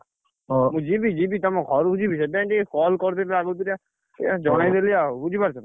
ମୁଁ ଯିବି, ଯିବି, ତମ ଘରୁକୁ ଯିବି, ସେଇଥିପାଇଁ ଟିକେ call କରିଦେଲି ଆଗ ତୁରିଆ ଟିକେ ଜଣେଇ ଦେଲି ଆଉ,